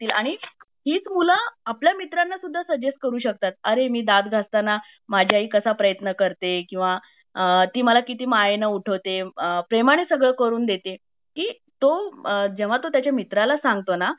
तीच मूल आपल्या मित्राना सुद्धा सजेस्ट करू शकतात अरे मी दांत घासतांना माझी आई कसं प्रयत्न करते किंवा ती मला किती मायेने उठवते अ प्रेमाने सगळं करून देते की तो जेव्हा तो त्याचा मित्राला सांगतो ना